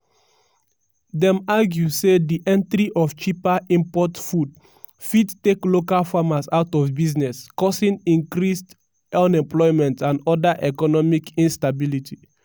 dem argue say di entry of cheaper import food fit take local farmers out of business causing increased unemployment and oda economic instability.